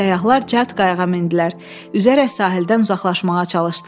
Səyyahlar cəld qayığa mindilər, üzərək sahildən uzaqlaşmağa çalışdılar.